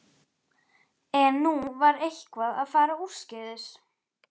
En nú var eitthvað að fara úrskeiðis.